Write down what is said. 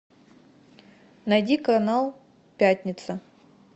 найди канал пятница